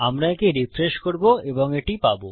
আমরা একে রিফ্রেশ করবো এবং এটি পাবো